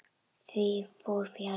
Því fór fjarri.